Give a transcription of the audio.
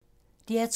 DR2